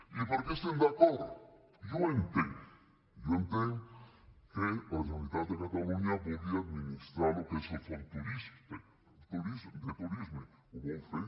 i per què hi estem d’acord jo ho entenc jo entenc que la generalitat de catalunya vulgui administrar el que és el fons de turisme ho vol fer